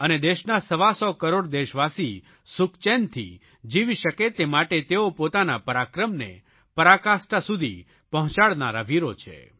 અને દેશના સવાસો કરોડ દેશવાસી સુખચેનથી જીવી શકે તે માટે તેઓ પોતાના પરાક્રમને પરાકાષ્ઠા સુધી પહોંચાડનારા વીરો છે